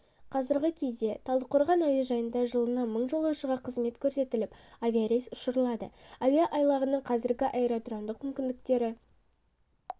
қазіргі кезде талдықорған әуежайында жылына мың жолаушыға қызмет көрсетіліп авиарейс ұшырылады әуе айлағының қазіргі аэродромдық мүмкіндіктері